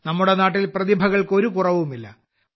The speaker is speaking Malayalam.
നമ്മുടെ നാട്ടിൽ പ്രതിഭകൾക്ക് ഒരു കുറവുമില്ല